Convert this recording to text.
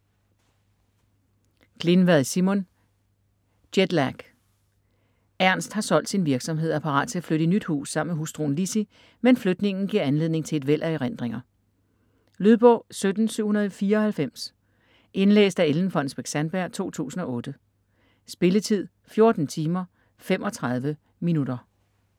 Glinvad, Simon: Jetlag Ernst har solgt sin virksomhed og er parat til at flytte i nyt hus sammen med hustruen Lizzie, men flytningen giver anledning til et væld af erindringer. Lydbog 17794 Indlæst af Ellen Fonnesbech-Sandberg, 2008. Spilletid: 14 timer, 35 minutter.